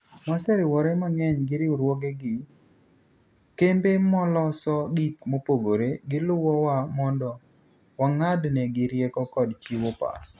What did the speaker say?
"Waseriwore mang'eny gi riwruoge gi kembe maloso gik mopogore, giluwo wa mondo wa ng'ad negi rieko kod chiwo paro.